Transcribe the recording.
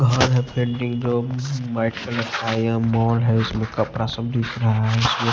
घर है पेंडिंग जो वाइट कलर का ये मॉल है इसमें कपड़ा सब दिख रहा है इसमें--